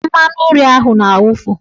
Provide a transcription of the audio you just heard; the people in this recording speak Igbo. Mmanụnri ahụ na-awufu.